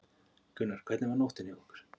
Gunnar: Hvernig var nóttin hjá ykkur?